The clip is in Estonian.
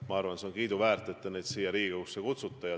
Ma arvan, et see on kiiduväärt, et te neid siia Riigikogusse kutsusite.